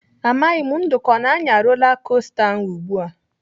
Amaghị m Nduka ọ na-anya rola kosta ahụ ugbu a.